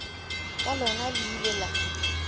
ka lona le ile la